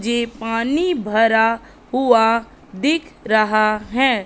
जे पानी भरा हुआ दिख रहा है।